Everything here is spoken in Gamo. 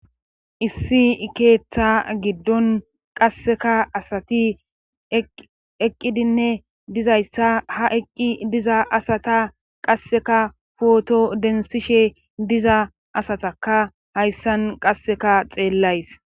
issi ikeeththa giddon qasseka asati eqqidinne dizayssa ha eqqi diza asata qasseka pooto denthishe diza asataka hayssan qasseka xeellays